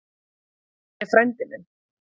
Hann er frændi minn.